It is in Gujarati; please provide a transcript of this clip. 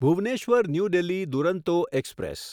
Bhubaneswar New Delhi Duronto express